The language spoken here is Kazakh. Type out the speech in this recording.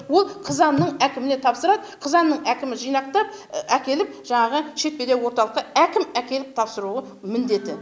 ол қызанның әкіміне тапсырады қызанның әкімі жинақтап әкеліп жаңағы шетпедегі орталыққа әкім әкеліп тапсыруы міндеті